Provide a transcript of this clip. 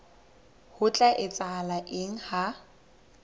ho tla etsahala eng ha